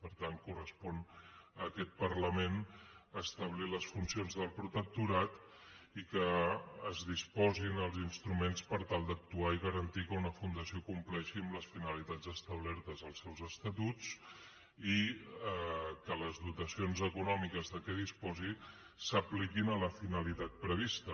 per tant correspon a aquest parlament establir les funcions del protectorat i que es disposin els instruments per tal d’actuar i garantir que una fundació compleixi amb les finalitats establertes als seus estatuts i que les dotacions econòmiques de què disposi s’apliquin a la finalitat prevista